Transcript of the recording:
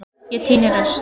Ég tíni rusl.